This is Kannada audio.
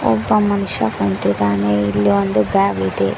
ಒಬ್ಬ ಮನುಷ್ಯ ಕುಂತಿದಾನೆ ಇಲ್ಲಿ ಒಂದು ಬ್ಯಾಗ್ ಇದೆ.